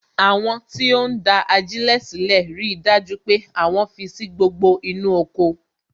Àwọn tí ó ń da ajilẹ sílè rí dájú pé àwọn fi sí gbogbo inú oko